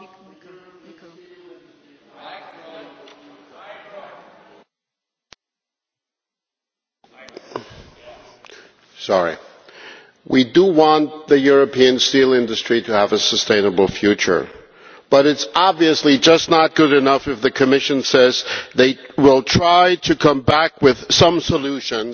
Mr President, we want the European steel industry to have a sustainable future, but it is obviously just not good enough for the Commission to say it will try to come back with some solutions,